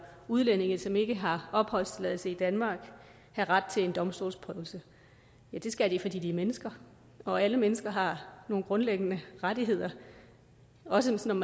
udlændinge som ikke har opholdstilladelse i danmark have ret til en domstolsprøvelse ja det skal de fordi de er mennesker og alle mennesker har nogle grundlæggende rettigheder også selv om